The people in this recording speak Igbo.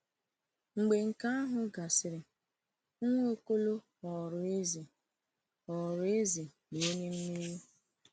Mgbe nke ahụ gasịrị, Nwaokolo ghọrọ eze ghọrọ eze na onye mmeri.